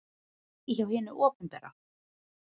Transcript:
Ekki hjá hinu opinbera.